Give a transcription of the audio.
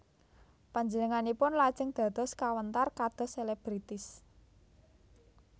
Panjenenganipun lajeng dados kawentar kados selebritis